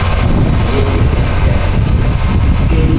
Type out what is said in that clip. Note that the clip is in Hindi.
चलिए देखते हैं कैसे